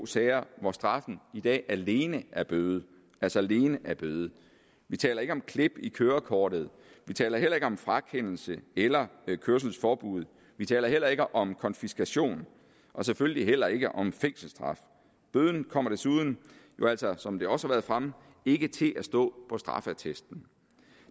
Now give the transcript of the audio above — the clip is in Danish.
sager hvor straffen i dag alene er bøde altså alene er bøde vi taler ikke om klip i kørekortet vi taler heller ikke om frakendelse eller kørselsforbud vi taler heller ikke om konfiskation og selvfølgelig heller ikke om fængselsstraf bøden kommer desuden som det også har været fremme ikke til at stå på straffeattesten